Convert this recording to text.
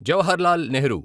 Jawaharlal Nehru